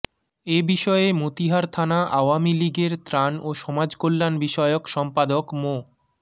এ বিষয়ে মতিহার থানা আওয়ামী লীগের ত্রাণ ও সমাজকল্যাণ বিষয়ক সম্পাদক মো